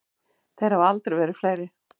Þeir hafa aldrei verið fleiri.